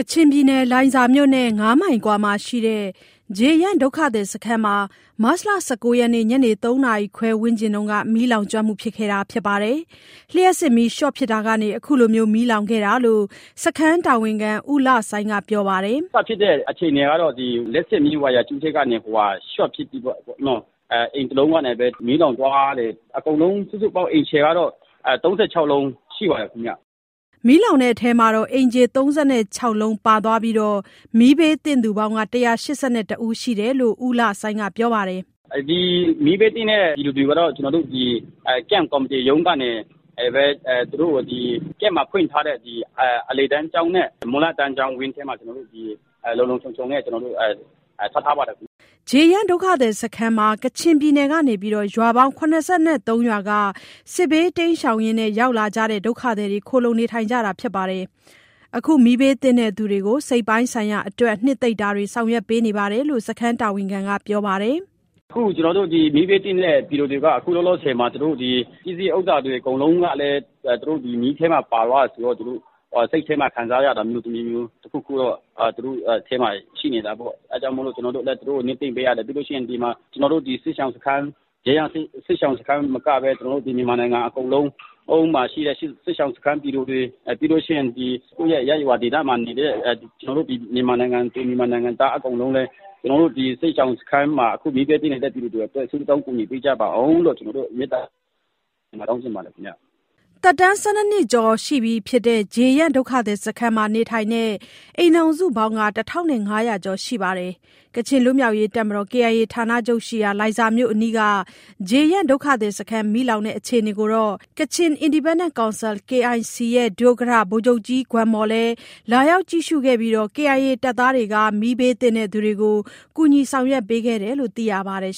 ချင်ပြည်နယ်၊ လိုင်ဇာမြို့နဲ့ ၅မိုင် အကွာမှာရှိတဲ့ ဂျေယန့်ဒုက္ခသည်စခန်းမှာ မတ်လ ၁၉ ရက်၊ မနေ့က ညနေ ၃ နာရီခွဲဝန်းကျင်မှာ မီးလောင်ခဲ့တာပါ။ လျှပ်စစ်မီးရှော့ဖြစ်တာကနေ အခုလို မီးလောင်ခဲ့တာလို့ စခန်းတာဝန်ခံ ဦးလဆိုင်းက ပြောပါတယ်။ "စဖြစ်တဲ့ အခြေအနေကတော့ လျှပ်စစ်မီးဝါယာကြိုး ရှော့ဖြစ်ပြီးတော့ အိမ်တစ်လုံးအရင် မီးလောင်သွားတယ်။ အဲဒီကနေ မီးလောင်သွားတဲ့ အိမ်ခြေစုစုပေါင်းက ၃၆ လုံး ရှိပါတယ်ခင်ဗျ။" မီးလောင်တဲ့အထဲ အိမ်ခြေ ၃၆ လုံးပါသွားပြီး၊ မီးဘေးသင့်သူပေါင်း ၁၈၁ ယောက်ရှိတယ်လို့ ဦးလဆိုင်းက ပြောပါတယ်။ "ဒီ မီးဘေးသင့်တဲ့ ပြည်သူတွေကို စခန်းကော်မတီ ရုံးကနေပဲ စစ်ရှောင်စခန်းမှာဖွင့်ထားတဲ့ အလယ်တန်းကျောင်းနဲ့ မူလတန်းကျောင်း ဝန်းထဲမှာပဲ လုံလုံခြုံခြုံထား ထားပါတယ်။" ဂျေယန့်ဒုက္ခသည်စခန်းမှာ ကချင်ပြည်နယ်ကနေ ရွာပေါင်း ၇၃ ရွာက စစ်ဘေးရှောင်ရင်း ရောက်လာကြတဲ့ ဒုက္ခသည်တွေ ခိုလှုံနေကြတာပါ။ အခု မီးဘေးသင့်သူတွေကို စိတ်ပိုင်းဆိုင်ရာအတွက် နှစ်သိမ့်တာတွေလည်း ဆောင်ရွက်ပေးနေတယ်လို့ စခန်းတာဝန်ခံက ပြောပါတယ်။ "မီးဘေးသင့်တဲ့ ပြည်သူတွေက အခုလောလောဆယ်မှာ သူတို့ပစ္စည်းဥစ္စာတွေ အကုန်လုံးကလည်း မီးထဲပါသွားတယ်ဆိုတော့ သူတို့စိတ်ထဲမှာ ခံစားရတာမျိုး တခုခုတော့ရှိနေတာပေါ့။ အဲဒါကြောင့် ကျနော်တို့ လတ်တလောမှာ နှစ်သိမ့်ပေးရတယ်။ ပြီးတော့ ကျနော်တို့ စစ်ရှောင်စခန်းတင် မကဘဲ မြန်မာနိုင်ငံမှာရှိတဲ့ စစ်ရှောင်စခန်းက ပြည်သူတွေ၊ ပြီးရင် ကိုယ့်ရဲ့ရပ်ရွာ ဒေသမှာနေတဲ့ ကျနော်တို့ မြန်မာနိုင်ငံသူ၊ နိုင်ငံသား အကုန်လုံးလည်း အခုမီးဘေးသင့်နေတဲ့ ပြည်သူတွေအတွက် ဆုတောင်းကူညီပေးကြပါလို့ မေတ္တာတောင်းချင်ပါတယ်။" သက်တမ်း ၁၂ နှစ်ကျော် ရှိပြီဖြစ်တဲ့ ဂျေယန့်ဒုက္ခသည်စခန်းမှာနေထိုင်တဲ့ အိမ်ထောင်စုပေါင်း ၁,၅၀၀ ကျော်ရှိပါတယ်။ ကချင်လွတ်မြောက်ရေး တပ်မတော် KIA ဌာနချုပ်ရှိတဲ့ လိုင်ဇာမြို့အနီးက ဂျေယန့်ဒုက္ခသည်စခန်း မီးလောင်တဲ့ အခြေအနေကို Kachin Independence Council (KIC) ရဲ့ ဒုဥက္ကဌ ဗိုလ်ချုပ်ကြီးဂွမ်မော်လည်း လာရောက် ကြည့်ရှုခဲ့ပြီး KIA တပ်သားတွေ ကူညီဆောင်ရွက်ပေးခဲ့တယ်လို့ သိရပါတယ်